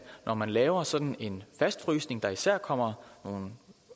når man laver sådan en fastfrysning der især kommer nogle